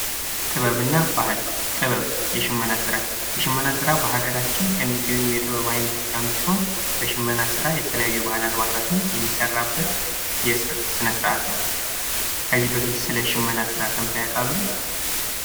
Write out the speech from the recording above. ጥበብና ባህል ጥበብ የሽመና ስራ፦ የሽመና ስራ በሀገራችን ከሚገኙ የጥበብ አይነቶች አንዱ ሲሆን በሽመና ስራ የተለያዩ ባህላዊ አልባሳቶች የሚሰሩበት ስነ ስርአት ነው። ከዚህ በፊት ስለ ሽመና ስራ ሰርተው ያውቃሉ?